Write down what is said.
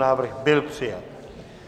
Návrh byl přijat.